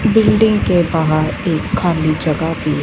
building के बाहर एक खाली जगह पे--